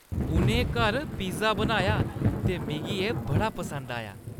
उʼनें घर पिज़्ज़ा बनाया ते मिगी एह् बड़ा पसंद आया।